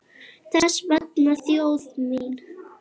Þess vegna þjóð mín!